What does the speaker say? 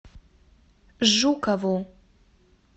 жукову